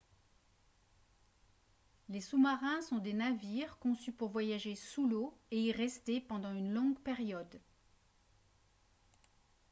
les sous-marins sont des navires conçus pour voyager sous l'eau et y rester pendant une longue période